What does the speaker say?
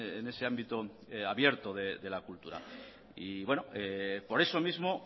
en ese ámbito abierto de la cultura por eso mismo